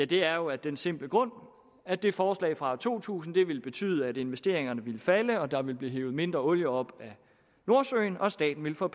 det er jo af den simple grund at det forslag fra to tusind ville betyde at investeringerne ville falde der ville blive hevet mindre olie op af nordsøen og at staten ville få